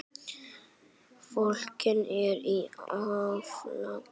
Fólkið er í áfalli.